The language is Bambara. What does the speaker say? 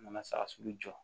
Mana saga sugu jɔ